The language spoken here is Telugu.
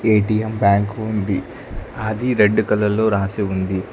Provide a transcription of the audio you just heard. ఏ_టీ_ఎం బ్యాంకు ఉంది అది రెడ్ కలర్ లో రాసి ఉంది.